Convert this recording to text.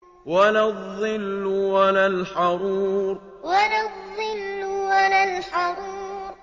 وَلَا الظِّلُّ وَلَا الْحَرُورُ وَلَا الظِّلُّ وَلَا الْحَرُورُ